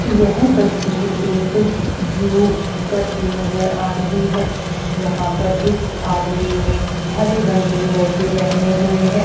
यह तस्वीर एक जोकर की नजर आ रही है यहां पर इस आदमी ने हरे रंग के मोजे पहने हुए हैं।